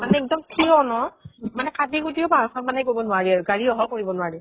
মানে এক্দম থিয় ন, মানে কাটি কুটিও পাহাৰ খন মানে সেই কৰিব নোৱাৰি আৰু, গাড়ী অহাও কৰিব নোৱাৰি।